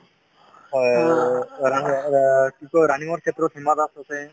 running ক্ষেত্ৰত হিমা দাস আছে